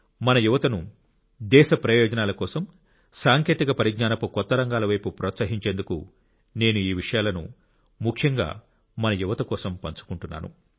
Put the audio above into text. మన యువతను దేశ ప్రయోజనాల కోసం సాంకేతిక పరిజ్ఞానపు కొత్త రంగాల వైపు ప్రోత్సహించేందుకు నేను ఈ విషయాలను ముఖ్యంగా మన యువత కోసం పంచుకుంటున్నాను